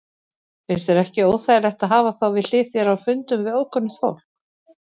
Finnst þér ekki óþægilegt að hafa þá við hlið þér á fundum við ókunnugt fólk?